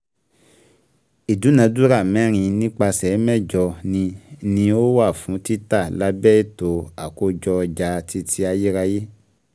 Ìdúnàdúrà mẹ́rin nípasẹ̀ mẹ́jọ ni ni ó wà fún títa lábẹ́ ètò àkójọ ọjà titi ayérayé.